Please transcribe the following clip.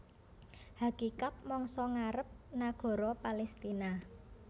Hakikat mangsa ngarep nagara Palestina